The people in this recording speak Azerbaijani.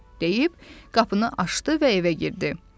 deyib qapını açdı və evə girdi.